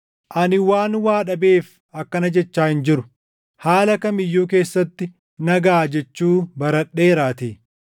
Ani waan waa dhabeef akkana jechaa hin jiru; haala kam iyyuu keessatti na gaʼa jechuu baradheeraatii.